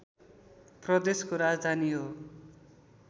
प्रदेशको राजधानी हो